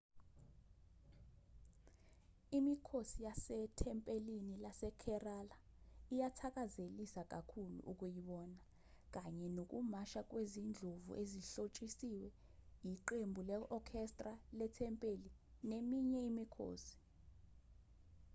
imikhosi yasethempelini lasekerala iyathakazelisa kakhulu ukuyibona kanye nokumasha kwezindlovu ezihlotshisiwe iqembu le-orchestra lethempeli neminye imikhosi